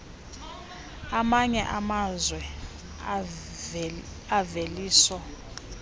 amanye amazwe imveliso